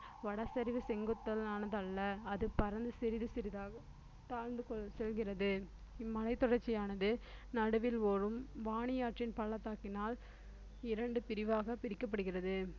வடசரிவு செங்குத்தானதல்ல அது பரந்து சிறிது சிறிதாகத் தாழ்ந்து செல்லுகிறது இம்மலைத் தொடர்ச்சியானது நடுவில் ஓடும் வாணியாற்றின் பள்ளத்தாக்கினால் இரண்டு பிரிவாகப் பிரிக்கப்படுகிறது